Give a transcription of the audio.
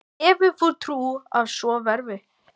Hefur þú trú á að svo verði?